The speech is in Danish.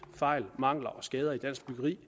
fejl mangler og skader i dansk byggeri